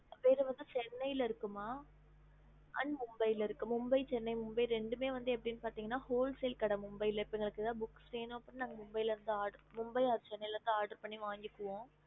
வேற வந்து சென்னைல இருக்கு ம அப்புறம் மும்பை இருக்குமா மும்பை சென்னை ரெண்டுமே olser கடைஎதாவது வேணுனா அங்க இருதுத்த வாங்குவோம்